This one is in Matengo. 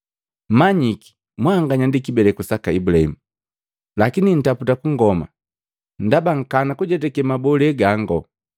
Manyiki mwanganya ndi kibeleku saka Ibulahimu lakini ntaputa kungoma ndaba nkana kujetake mabole gango.